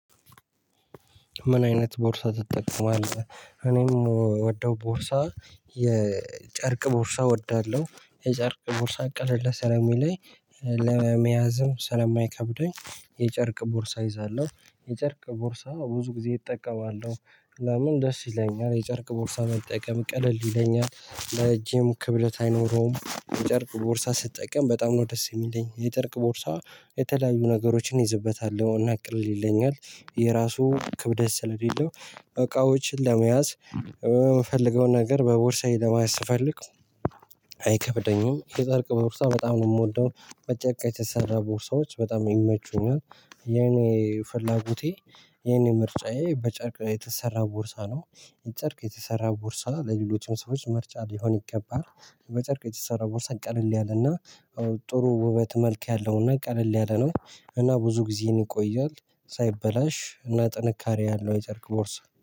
ምን አይነት ቦርሳ ትጠቀማለህ? እኔምወደው ቦርሳ የጨርቅ ቦርሳ እወዳለሁ የጨርቅ ቦርሳ ቀለል ሰለሚለኝ ለመያዝም ስለማይከብደኝ የጨርቅ ቦርሳ ይዛለሁ የጨርቅ ቦርሳ ብዙ ጊዜ እጠቀማለሁ። ለምን ደስ ይለኛል የጨርቅ ቦርሳ ላይ መጠቀም ቀለል ይለኛል ለእጄም ክብደት አይኖረውም የጨርቅ ቦርሳ ስትጠቀም በጣም ነው ደስ የሚለኝ። የጨርቅ ቦርሳ የተለያዩ ነገሮችን ይዝበታለሁ እና ቅልል ይለኛል። የራሱ ክብደት ስለሌለው እቃዎችን ለመያዝ የምፈልገውን ነገር በቦርሳዬ ለመያዝ ስፈልግ። አይከብደኝም የጨርቅ ቦርሳ በጣም ነው የምወደው። በጨርቅ የተሰራ ቦርሳዎች በጣም ይመቹኛል። የኔ ፍላጎቴ የኔ ምርጫዬ በጨርቅ የተሰራ ቦርሳ ነው። ጨርቅ የተሰራ ቦርሳ ለሌሎችም ሰዎች ምርጫ ሊሆን ይገባል። የመጨርቅ የተሰራ ቦርሳ ቀለል ያለና ጥሩ ውበት መልክ ያለውና ቀለል ያለ ነው። እና ብዙ ጊዜን ይቆያል። ሳይበላሽ እና ጥንካሬ ያለው የጨርቅ ቦርሳ